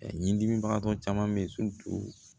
Ɲindimibagatɔ caman bɛ yen